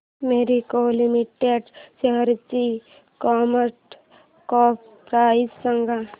Marico limited शेअरची market cap price सांगा